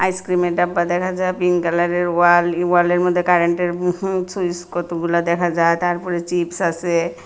আইসক্রিমের ডাব্বা দেখা যায় পিংক কালারের ওয়াল এই ওয়ালের মধ্যে কারেন্টের হুহু সুইচ কতগুলা দেখা যায় তারপরে চিপস আছে।